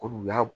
Ko n'u y'a